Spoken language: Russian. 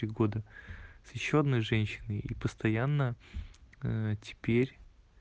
с ещё одной женщины и постоянно теперь